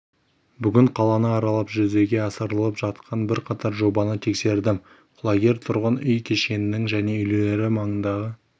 бүгін қаланы аралап жүзеге асырылып жатқан бірқатар жобаны тексердім құлагер тұрғын үй кешенінің және үйлері маңындағы